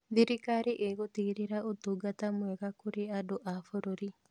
Thirikari ĩgũtigĩrĩra ũtungata mwega kũrĩ andũ a bũrũri.